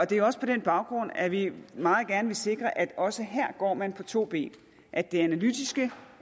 det er også på den baggrund at vi meget gerne vil sikre at også her går man på to ben at det analytiske